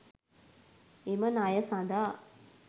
එම ණය සඳහා